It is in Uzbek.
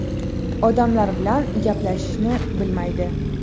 Odamlar bilan gaplashishni bilmaydi.